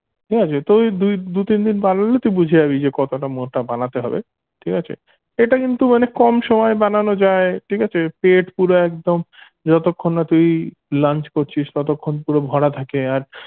ঠিক আছে তুই দুই দুই তিনদিন বানালে তুই বুঝে যাবি যে কতটা মোটা বানাতে হবে ঠিক আছে এটা কিন্তু মানে কম সময়ে বানানো যায় ঠিক আছে পেট পুরা একদম যতক্ষণ না তুই lunch করছিস ততক্ষন পুরো ভরা থাকে আর